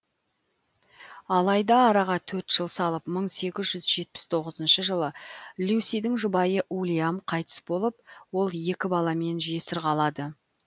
алайда араға төрт жыл салып мың сегіз жүз жетпіс тоғызыншы жылы люсидің жұбайы уильям қайтыс болып ол екі баламен жесір қалады